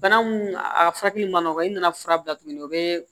Bana mun a furakɛli ma nɔgɔn i nana fura bila tuguni o bɛ